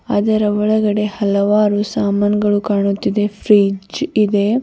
ಅದರ ಒಳಗಡೆ ಹಲವಾರು ಸಾಮಾನುಗಳು ಕಾಣುತ್ತಿದೆ ಫ್ರಿಜ್ ಇದೆ.